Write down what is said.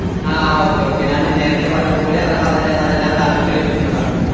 ആഹ് okay okay ഞാന് നേരത്തെ പറഞ്ഞത് പോലെ അത് അത്അ തെല്ലാം താങ്കള്ക്ക് ലെഭിക്കുന്നതാണ്